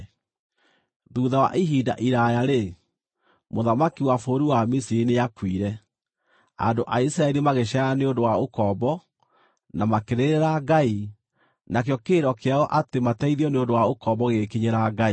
Thuutha wa ihinda iraaya-rĩ, mũthamaki wa bũrũri wa Misiri nĩakuire. Andũ a Isiraeli magĩcaaya nĩ ũndũ wa ũkombo, na makĩrĩrĩra Ngai; nakĩo kĩrĩro kĩao atĩ mateithio nĩ ũndũ wa ũkombo gĩgĩkinyĩra Ngai.